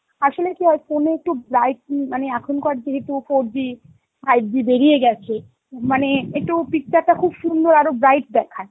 আসলে কি হয়, phone এ একটু bright উম মানে এখনকার যেহেতু four G five G বেরিয়ে গেছে, মানে একটু picture টা খুব সুন্দর, আরো bright দেখায়.